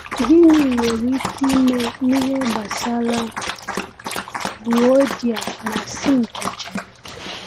Gịnị nwere ike ime n’ihe gbasara Euodia na Syntyche?